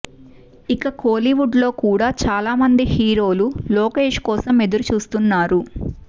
ఇక కోలీవుడ్ లో కూడా చాలా మంది హీరోలు లోకేష్ కోసం ఎదురుచూస్తున్నారు